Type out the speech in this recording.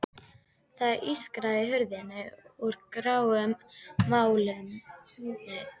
Það ískraði í hurð úr gráum málmi.